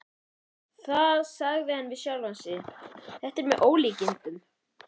Það sagði hann við sjálfan sig: Þetta er með ólíkindum.